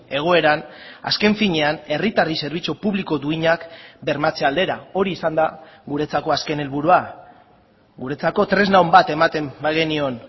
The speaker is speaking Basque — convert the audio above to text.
egoeran azken finean herritarrei zerbitzu publiko duinak bermatze aldera hori izan da guretzako azken helburua guretzako tresna on bat ematen bagenion